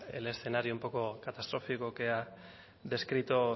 el escenario un poco catastrófico que ha descrito